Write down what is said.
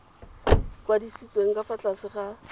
kwadisitsweng ka fa tlase ga